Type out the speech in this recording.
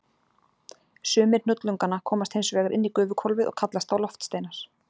Sumir hnullunganna komast hins vegar inn í gufuhvolfið og kallast þá loftsteinar.